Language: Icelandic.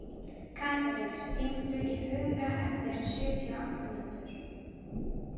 Katarínus, hringdu í Huga eftir sjötíu og átta mínútur.